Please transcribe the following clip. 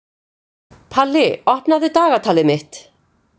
Palli, opnaðu dagatalið mitt.